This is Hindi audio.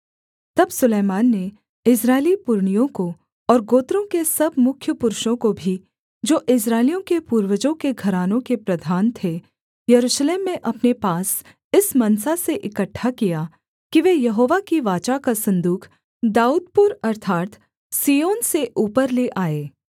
तब सुलैमान ने इस्राएली पुरनियों को और गोत्रों के सब मुख्य पुरुषों को भी जो इस्राएलियों के पूर्वजों के घरानों के प्रधान थे यरूशलेम में अपने पास इस मनसा से इकट्ठा किया कि वे यहोवा की वाचा का सन्दूक दाऊदपुर अर्थात् सिय्योन से ऊपर ले आएँ